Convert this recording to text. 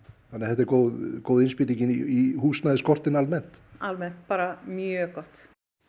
þannig að þetta er góð góð innspýting inn í húsnæðisskortinn almennt almennt bara mjög gott